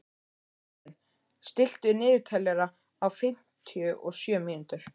Marthen, stilltu niðurteljara á fimmtíu og sjö mínútur.